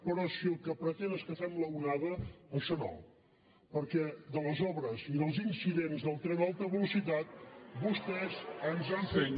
però si el que pretén és que fem l’onada això no perquè de les obres i dels incidents del tren d’alta velocitat vostès ens han fet